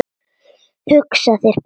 Hugsaðu þér bara!